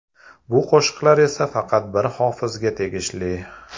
Bu qo‘shiqlar esa faqat bir hofizga tegishli!